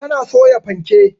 Ta na soya fanke